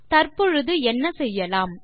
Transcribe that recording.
தற்பொழுது என்ன செய்யலாம்